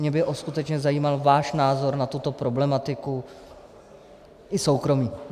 Mě by skutečně zajímal váš názor na tuto problematiku, i soukromý.